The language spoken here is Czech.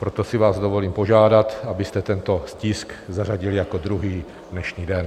Proto si vás dovolím požádat, abyste tento tisk zařadili jako druhý dnešní den.